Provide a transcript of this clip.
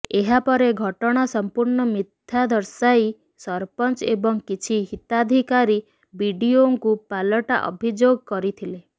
ଏହାପରେ ଘଟଣା ସଂପୂର୍ଣ୍ଣ ମିଥ୍ୟା ଦର୍ଶାଇ ସରପଞ୍ଚ ଏବଂ କିଛି ହିତାଧିକାରୀ ବିଡିଓଙ୍କୁ ପାଲଟା ଅଭିଯୋଗ କରିଥିଲେ